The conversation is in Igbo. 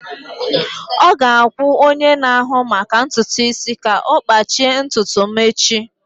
Ọ ga-akwụ onye na-ahụ maka ntutu isi ka ọ kpachie ntutu m echi.